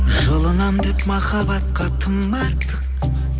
жылынамын деп махаббатқа тым артық